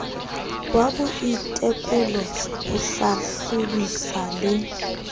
wa boitekolo ho hlahlobisa le